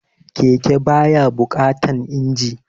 Keke ba ya buƙatan injin